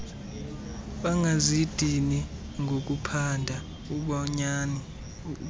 bangazidini ngokuphanda ubunyani